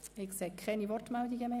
– Das ist nicht der Fall.